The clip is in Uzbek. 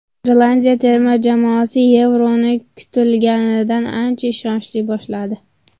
Irlandiya terma jamoasi Yevroni kutilganidan ancha ishonchli boshladi.